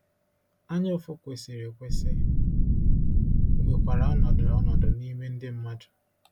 Anyaụfụ kwesịrị ekwesị nwekwara ọnọdụ ọnọdụ n’ime ndị mmadụ.